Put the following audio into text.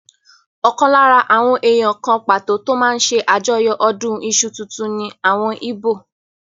Ọ̀kan lára àwọn èèyàn kan pàtó tó máa n ṣe àjọyọ̀ ọdún iṣu tuntun ní àwọn íbò